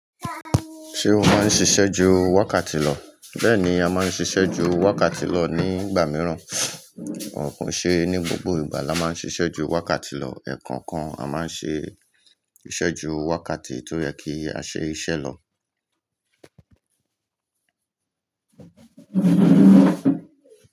Ṣé o máa ń ṣiṣẹ́ ju wákàtí lọ? Bẹ́ẹ̀ni, a máa ń ṣiṣẹ́ ju wákàtí lọ nígbà mìíràn, kò ṣe ní gbogbo ìgbà la máa ń ṣiṣẹ́ ju wákàtí lọ, ẹ̀ẹ̀kọ̀kan a máa ń ṣe iṣẹ́ ju wákàtí tó yẹ kí a ṣe iṣẹ́ lọ.